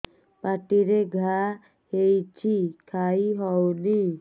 ପାଟିରେ ଘା ହେଇଛି ଖାଇ ହଉନି